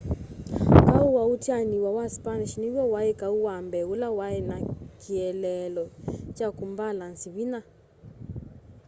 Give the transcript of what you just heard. kau wa utianiwa wa spanish niw'o wai kau wa mbee ula wai na kieleelo kya kumbalanzi vinya